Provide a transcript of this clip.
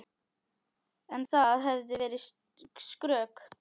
En það hefði verið skrök.